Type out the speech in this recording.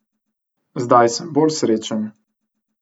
Zdaj sem bolj srečen.